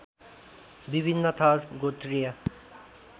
विभिन्न थर गोत्रीय